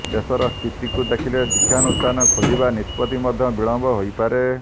ଦେଶର ସ୍ଥିତିକୁ ଦେଖିଲେ ଶିକ୍ଷାନୁଷ୍ଠାନ ଖୋଲିବା ନିଷ୍ପତ୍ତି ମଧ୍ୟ ବିଳମ୍ବ ହୋଇପାରେ